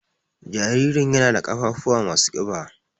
Jaririn ƴana ɗa ƙafafuwa masu ƙiba.